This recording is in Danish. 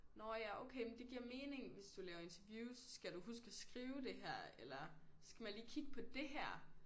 Nåh ja okay men det giver mening hvis du laver interviews skal du huske at skrive det her eller skal man lige kigge på det her